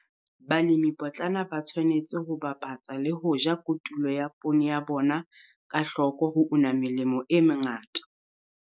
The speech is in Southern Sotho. Balemipotlana ba tshwanetse ho bapatsa le ho ja kotulo ya poone ya bona ka hloko ho una melemo e mengata.